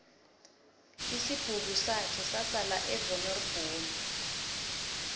isibhukusakhe sasala evaneri bhomu